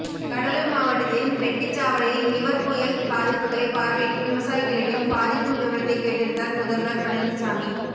கடலூர் மாவட்டத்தின் ரெட்டிச்சவாடியில் நிவர் புயல் பாதிப்புகளை பார்வையிட்டு விவசாயிகளிடம் பாதிப்பு விவரத்தை கேட்டறிந்தார் முதல்வர் பழனிசாமி